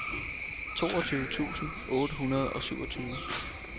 toogtyve tusind otte hundrede og syvogtyve